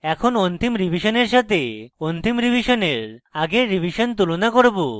এখন অন্তিম রিভিশনের সাথে অন্তিম রিভিশনের আগের revision তুলনা করব